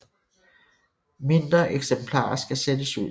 Mindre eksemplarer skal sættes ud igen